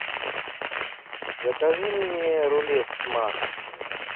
закажи мне рулет с маком